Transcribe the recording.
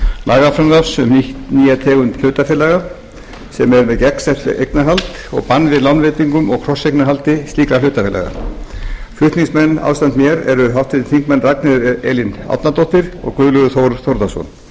lagafrumvarps um nýja tegund hlutafélaga sem er með gegnsætt eignarhald og bann við lánveitingum og krosseignarhaldi slíkra hlutafélaga flutningsmenn ásamt mér eru háttvirtir þingmenn ragnheiður elín árnadóttir og guðlaugur þór þórðarson